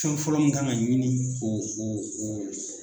Fɛn fɔlɔ min kan ka ɲini o o o